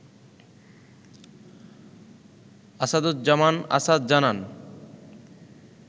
আসাদুজ্জামান আসাদ জানান